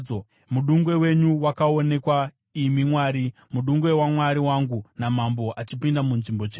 Mudungwe wenyu wakaonekwa, imi Mwari, mudungwe waMwari wangu naMambo achipinda munzvimbo tsvene.